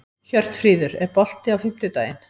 Hjörtfríður, er bolti á fimmtudaginn?